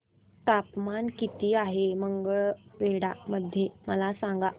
तापमान किती आहे मंगळवेढा मध्ये मला सांगा